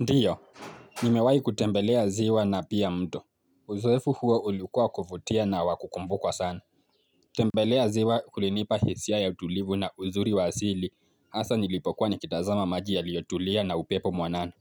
Ndio, nimewahi kutembelea ziwa na pia mto. Uzoefu huo ulikuwa wa kuvutia na wa kukumbukwa sana. Kutembelea ziwa kulinipa hisia ya utulivu na uzuri wa asili. Hasa nilipokuwa nikitazama maji yaliyotulia na upepo mwanana.